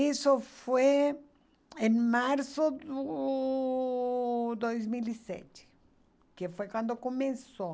Isso foi em março de do dois mil e sete, que foi quando começou.